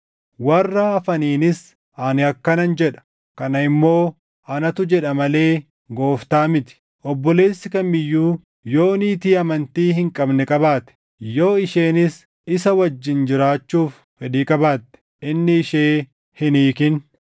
Warra hafaniinis ani akkanan jedha: Kana immoo anatu jedha malee Gooftaa miti; obboleessi kam iyyuu yoo niitii amantii hin qabne qabaate, yoo isheenis isa wajjin jiraachuuf fedhii qabaatte, inni ishee hin hiikin.